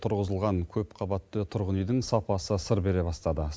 тұрғызылған көп қабатты тұрғын үйдің сапасы сыр бере бастады